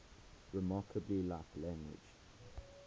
remarkably like language